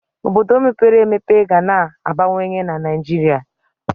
Obodo mepere emepe ga na-abawanye na Naịjirịa.